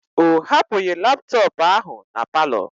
O hapụghị laptọọpụ ahụ na palọ.